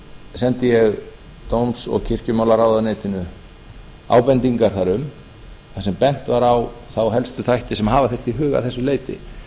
sendi ég dóms og kirkjumálaráðuneytinu ábendingar þar um sem bent var á helstu þætti sem hafa þyrfti í huga að þessu leyti